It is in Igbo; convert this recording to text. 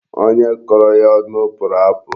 Onye kọrọ ya ọnụ pụrụ apụ.